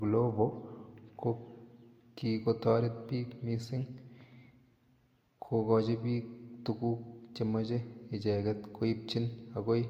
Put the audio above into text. Glovo ko kikotoret biik missing kokochi biik tuguk chemoche echeget koibchin agoi